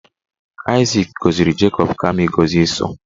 Aịzik gọziri Jacob kama ịgọzi Ịsọ